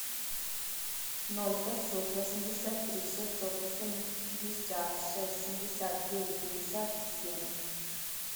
ноль пятьсот восемьдесят три шестьсот восемьдесят шесть семьдесят девять пятьдесят семь